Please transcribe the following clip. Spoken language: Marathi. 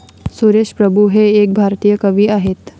सुरेश प्रभू हे एक भारतीय कवी आहेत.